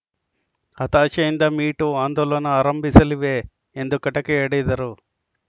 ಹತಾಶೆಯಿಂದ me too ಆಂದೋಲನ ಆರಂಭಿಸಲಿವೆ ಎಂದು ಕಟಕಿಯಾಡಿದರು